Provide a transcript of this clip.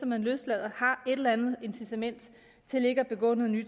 man løslader har et eller andet incitament til ikke at begå ny